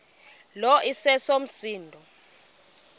lo iseso msindo